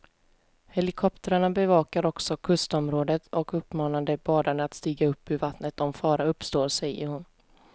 Helikoptrarna bevakar också kustområdet och uppmanar de badande att stiga upp ur vattnet om fara uppstår, säger hon.